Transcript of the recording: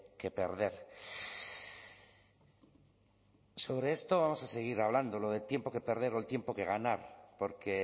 que perder sobre esto vamos a seguir hablando lo de tiempo que perder o el tiempo que ganar porque